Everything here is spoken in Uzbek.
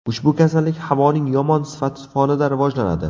Ushbu kasallik havoning yomon sifati fonida rivojlanadi.